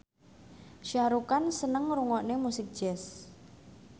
Shah Rukh Khan seneng ngrungokne musik jazz